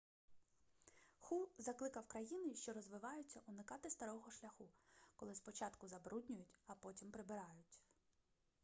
ху закликав країни що розвиваються уникати старого шляху коли спочатку забруднюють а потім прибирають